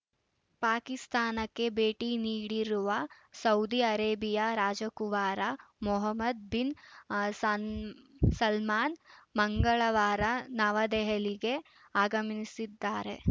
ಪಾಕಿಸ್ತಾನಕ್ಕೆ ಭೇಟಿ ನೀಡಿರುವ ಸೌದಿ ಆರೇಬಿಯಾ ರಾಜಕುವರ ಮೊಹಮ್ಮದ್‌ ಬಿನ್‌ ಸನ್ ಸಲ್ಮಾನ್‌ ಮಂಗಳವಾರ ನವದೆಹಲಿಗೆ ಆಗಮಿನೀಸಿದ್ದಾರೆ